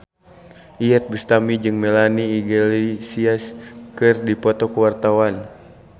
Iyeth Bustami jeung Melanie Iglesias keur dipoto ku wartawan